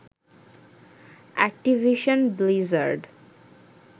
Activision Blizzard